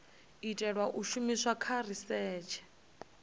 itelwa u shumiswa kha risetshe